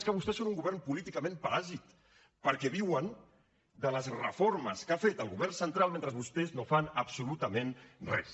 és que vostès són un govern políticament paràsit perquè viuen de les reformes que ha fet el govern central mentre vostès no fan absolutament res